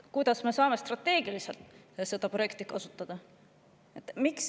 Kuidas me saame strateegiliselt seda projekti kasutada?